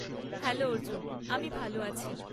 Hello Arjun! আমি ভালো আছি।